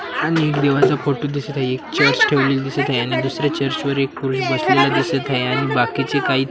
आणि एक देवाचा फोटो दिसत आहे अनेक ठेवलेली दिसत आहे आणि दुसऱ्या एक पुरुष बसलेला दिसत आहे आणि बाकीचे काही --